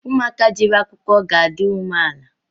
Ụmụ aka jere akwụkwọ ga-adi ume ala